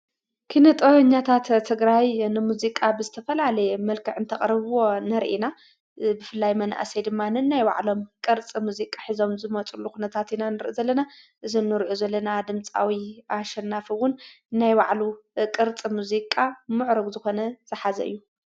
ኪነጦ ኛታት ትግራይ እንሙዚቃ ብዝተፈልለየ መልከዕ እንተቕርብዎ ነርኢና ብፍላይ መንእሰይ ድማንን ናይ ባዕሎም ቕርጽ ሙዚቃ ኂዞም ዝመጽሉ ኽነታት ኢናን ዘለነ ዝኑርኡ ዘለና ድምጻዊ ኣሸናፊውን ናይ ባዕሉ ቕርጽ ሙዚቃ ምዕርግ ዝኾነ ዝሓዘ እዩ።